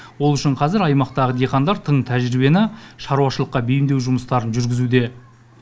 ол үшін қазір аймақтағы диқандар тың тәжірибені шаруашылыққа бейімдеу жұмыстарын жүргізуде